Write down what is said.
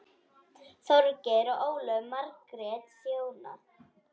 Þorgeir og Ólöf Margrét þjóna.